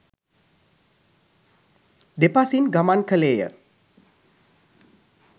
දෙපසින් ගමන් කළේය